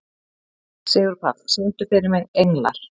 Sigurpáll, syngdu fyrir mig „Englar“.